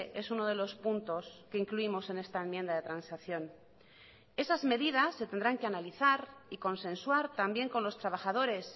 es uno de los puntos que incluimos en esta enmienda de transacción esas medidas se tendrán que analizar y consensuar también con los trabajadores